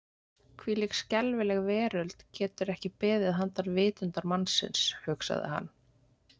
Hvílík skelfileg veröld getur ekki beðið handan vitundar mannsins, hugsaði hann.